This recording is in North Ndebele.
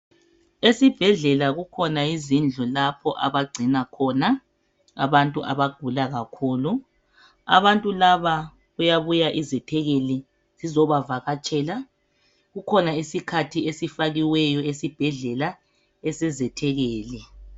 Esibhedlela kukhona izindlu lapho abagcina khona abantu abagula kakhulu. Abantu laba kuyabuya izethekeli zizobavakatshela kukhona isikhathi esifakiweyo esibhedlela esezethekeli